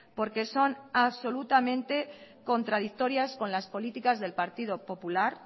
porque son absolutamente contradictorias con las políticas del partido popular